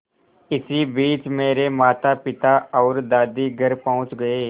इसी बीच मेरे मातापिता और दादी घर पहुँच गए